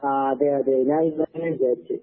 ആഹ് അതെയതെ. ഞാനിന്നലന്നെ വിചാരിച്ചേ.